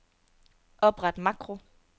Opret makro.